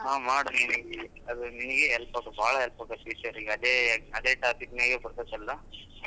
ಹಾ ಮಾಡು ನಿನಗೆ ಅದು ನಿನಗೆ help ಬಾಳ help ಆಗುತ್ತೆ future ಅದೇ ಅದೇ topic ಬರ್ತದಲ್ಲ.